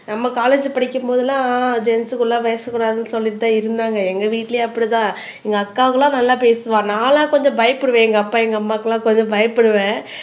நம்ம காலேஜ் படிக்கும் போது எல்லாம் ஜென்சுக்குள்ள பேச கூடாதுன்னு சொல்லித்தான் இருந்தாங்க எங்க வீட்டிலேயே அப்படித்தான் எங்க அக்காவுலாம் நல்லா பேசுவா நான் எல்லாம் கொஞ்சம் பயப்படுவேன் எங்கப்பா எங்க அம்மாக்கு எல்லாம் கொஞ்சம் பயப்படுவேன்